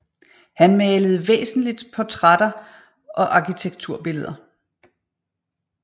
Han malede væsentlig portrætter og arkitekturbilleder